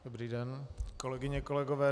Dobrý den, kolegyně, kolegové.